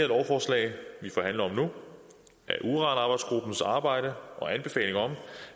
lovforslag vi forhandler om nu af uranarbejdsgruppens arbejde og anbefaling om